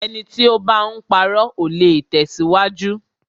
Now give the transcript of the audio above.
Ẹni tí o bá ń parọ́, ò le tẹ̀síwájú.